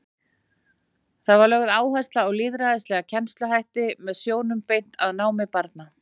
Þar var lögð áhersla á lýðræðislega kennsluhætti og sjónum beint að námi barna.